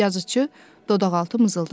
Yazıçı dodaqaltı mızıldandı.